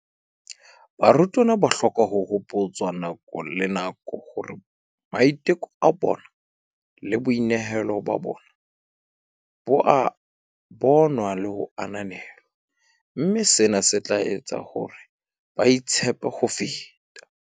"Barutwana ba hloka ho hopotswa nako le nako hore maiteko a bona le boinehelo ba bona bo a bonwa le ho ananelwa, mme sena se tla etsa hore ba itshepe ho feta."